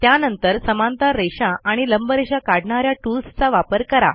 त्यानंतर समांतर रेषा आणि लंबरेषा काढणा या टूल्स चा वापर करा